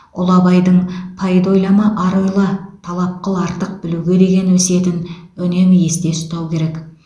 ұлы абайдың пайда ойлама ар ойла талап қыл артық білуге деген өсиетін үнемі есте ұстау керек